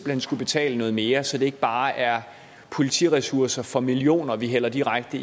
hen skulle betale noget mere så det ikke bare er politiressourcer for millioner vi hælder direkte